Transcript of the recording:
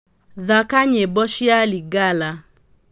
thaaka nyĩmbo ciakwa cia lingala